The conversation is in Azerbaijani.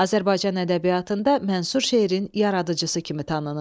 Azərbaycan ədəbiyyatında mənsub şeirin yaradıcısı kimi tanınır.